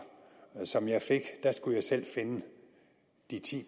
som jeg fik skulle jeg selv finde de ti